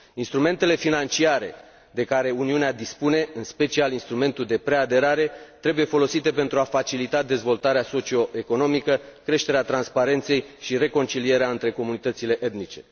Instrumentele financiare de care Uniunea dispune, în special instrumentul de preaderare, trebuie folosite pentru a facilita dezvoltarea socio economică, creșterea transparenței și reconcilierea între comunitățile etnice.